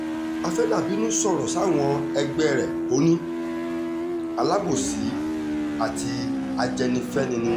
afeather bínú sọ̀rọ̀ sáwọn ẹgbẹ́ rẹ̀ ò ní alábòsí àti ajẹ́nifẹ́ni ni wọ́n